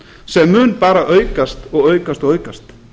sem mun bara aukast og aukast og aukast